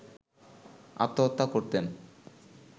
আত্মহত্যা করতেন